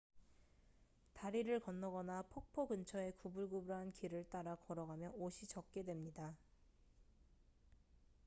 다리를 건너거나 폭포 근처의 구불구불한 길을 따라 걸어가면 옷이 젖게 됩니다